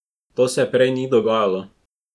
To se prej ni dogajalo.